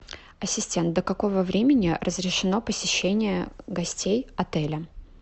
ассистент до какого времени разрешено посещение гостей отеля